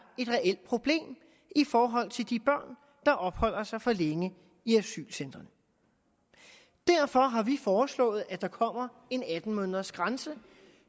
et reelt problem i forhold til de børn der opholder sig for længe i asylcentrene derfor har vi foreslået at der kommer en atten måneders grænse